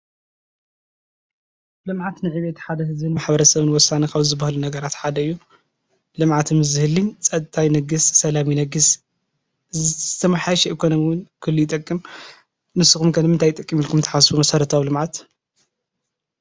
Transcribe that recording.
ልምዓት ንዕቤት ሓደ ህዝቢ ማሕበረሰብን ወሳኒ ካብ ዝበሃሉ ነገራት ሓደ እዩ:: ልምዓት ምስዝህልይ ፀጥታ ይነግስ፣ ሰላም ይነግስ ፣ዝተመሓየሸ ኢኮኖሚ እውን ክህሉ ይጠቅም። ንስኹምከ ንምንታይ ይጠቅም ኢልኩም ተሓስቡ መሰረታዊ ልምዓት?